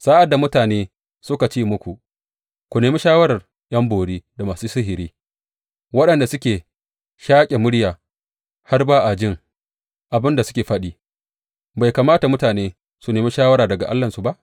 Sa’ad da mutane suka ce muku ku nemi shawarar ’yan bori da masu sihiri, waɗanda suke shaƙe murya har ba a jin abin da suke faɗi, bai kamata mutane su nemi shawara daga Allahnsu ba?